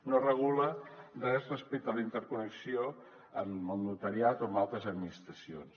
no regula res respecte a la interconnexió amb el notariat o amb altres administracions